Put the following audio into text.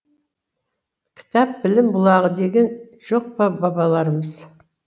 кітап білім бұлағы деген жоқ па бабаларымыз